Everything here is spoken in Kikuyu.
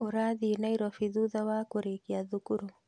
Ũrathiĩ Nairobi thutha wa kũrĩkia thukuru